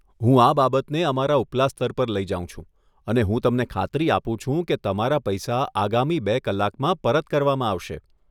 હું આ બાબતને અમારા ઉપલા સ્તર પર લઈ જાઉં છું અને હું તમને ખાતરી આપું છું કે તમારા પૈસા આગામી બે કલાકમાં પરત કરવામાં આવશે.